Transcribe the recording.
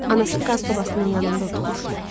Anası qaz sobasının yanında oturmuşdu.